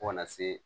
Fo kana se